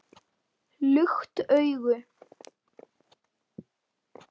Lukt augu